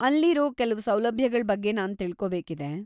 ಅಲ್ಲಿರೋ ಕೆಲ್ವು ಸೌಲಭ್ಯಗಳ್ ಬಗ್ಗೆ ನಾನ್‌ ತಿಳ್ಕೋಬೇಕಿದೆ.